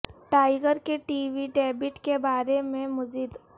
tiger کے TV debate کے بارے میں مزید